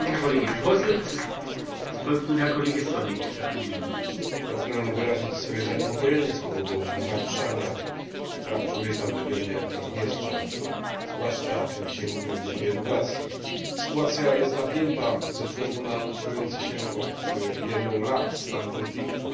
Panie Przewodniczący! Pragnę wyrazić swoje zaniepokojenie z powodu naruszania praw człowieka w regionie Naddniestrza, zwłaszcza, o czym dzisiaj mówiłem, w dziedzinie edukacji. Sytuacja jest napięta ze względu na utrzymujący się od wielu lat stan konfliktu.